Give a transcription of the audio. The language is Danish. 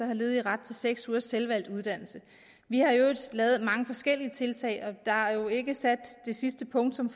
har ledige ret til seks ugers selvvalgt uddannelse vi har i øvrigt lavet mange forskellige tiltag og der er jo ikke sat det sidste punktum